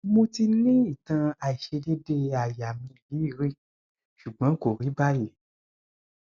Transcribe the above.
mo ti ni itan aisedede aya mi yi ri sugbon ko ri bayi